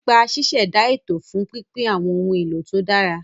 Nípa ṣíṣẹ̀dá ètò fún pínpín àwọn ohun èlò tó dára.